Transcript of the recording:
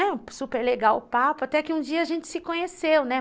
E super legal o papo, até que um dia a gente se conheceu, né?